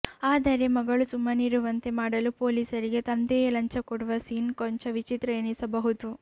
ಆದರೆ ಮಗಳು ಸುಮ್ಮನಿರುವಂತೆ ಮಾಡಲು ಪೊಲೀಸರಿಗೆ ತಂದೆಯೇ ಲಂಚ ಕೊಡುವ ಸೀನ್ ಕೊಂಚ ವಿಚಿತ್ರ ಎನಿಸಬಹುದು